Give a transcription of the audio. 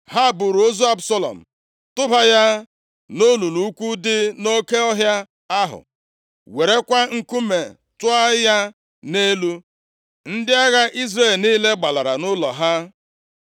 Ha buuru ozu Absalọm tụba ya nʼolulu ukwu dị nʼoke ọhịa ahụ, werekwa nkume tụọ ya nʼelu. Ndị agha Izrel niile gbalara nʼụlọ ha.